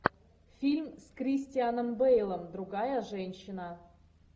фильм с кристианом бейлом другая женщина